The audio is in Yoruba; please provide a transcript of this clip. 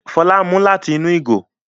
Fola ń mú lati inú ìgò